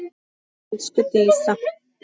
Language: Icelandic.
Elsku Dísa.